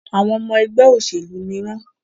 Àwọn ọmọ ẹgbẹ́ òṣèlú ní wọ́n.